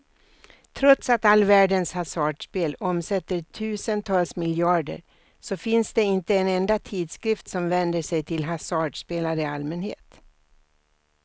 Trots att all världens hasardspel omsätter tusentals miljarder så finns det inte en enda tidskrift som vänder sig till hasardspelare i allmänhet.